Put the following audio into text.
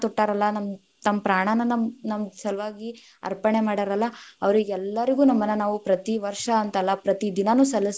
ತೊಟ್ಟಾರಲ್ಲಾ ನಮ್ ತಮ್ ಪ್ರಾಣಾನ ನಮ್‌ ನಮ್‌ ಸಲುವಾಗಿ ಅಪ೯ಣೆ ಮಡ್ಯಾರಲ್ಲಾ, ಅವರಿಗೆಲ್ಲಾರಗೂ ನಮನ ನಾವು ಪ್ರತಿ ವಷ೯ ಅಂತ ಅಲ್ಲಾ ಪ್ರತಿ ದಿನಾನು ಸಲ್ಲಸಬೇಕ್